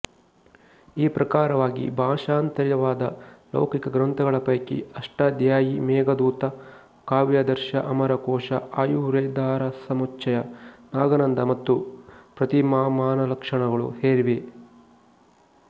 ಈ ಪ್ರಕಾರವಾಗಿ ಭಾಷಾಂತರಿತವಾದ ಲೌಕಿಕ ಗ್ರಂಥಗಳ ಪೈಕಿ ಅಷ್ಟಾಧ್ಯಾಯೀ ಮೇಘದೂತ ಕಾವ್ಯಾದರ್ಶ ಅಮರಕೋಶ ಆಯುರ್ವೇದಾರಸಮುಚ್ಚಯ ನಾಗಾನಂದ ಮತ್ತು ಪತ್ರಿಮಾಮಾನಲಕ್ಷಣಗಳು ಸೇರಿವೆ